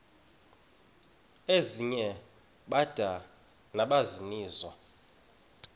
ezinye bada nabaninizo